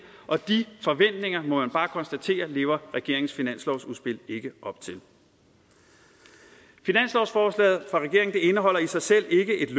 og de forventninger må man bare konstatere lever regeringens finanslovsudspil ikke op til finanslovsforslaget fra regeringen indeholder i sig selv ikke